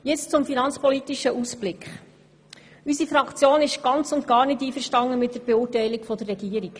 Nun zum finanzpolitischen Ausblick: Unsere Fraktion ist ganz und gar nicht einverstanden mit der Beurteilung der Regierung.